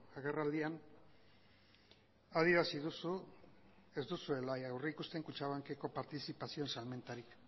agerraldian adierazi duzu ez duzuela aurrikusten kutxabankeko partizipazioen salmentarik